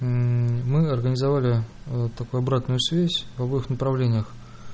мы организовали такую обратную связь в обоих направлениях